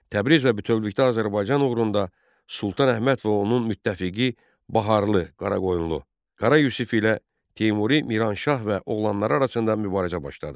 Təbriz və bütövlükdə Azərbaycan uğrunda Sultan Əhməd və onun müttəfiqi Baharlı Qaraqoyunlu Qara Yusif ilə Teymuri Miranşah və oğlanları arasında mübarizə başladı.